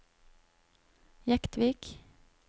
Jektvik